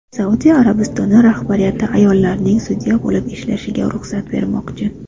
Saudiya Arabistoni rahbariyati ayollarning sudya bo‘lib ishlashiga ruxsat bermoqchi.